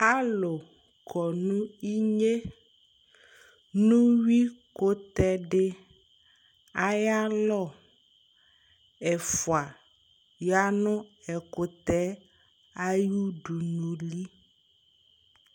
Alʋ kɔ nʋ inye nʋ uyuikʋtɛ dɩ ayalɔ Ɛfʋa ya nʋ ɛkʋtɛ yɛ ayʋ udunuli